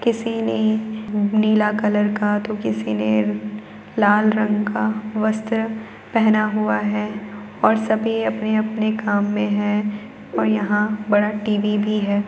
किसी ने नीला कलर का तो किसी ने लाल रंग का वस्त्र पहना हुआ है और सभी अपने अपने काम में हैं और यहाँ बड़ा टीवी भी है।